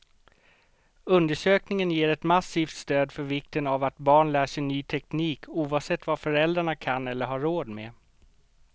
Undersökningen ger ett massivt stöd för vikten av att barn lär sig ny teknik, oavsett vad föräldrarna kan eller har råd med.